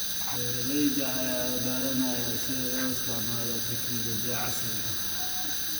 Beeralayda ayaa baranaya sida loo isticmaalo tignoolajiyada casriga ah.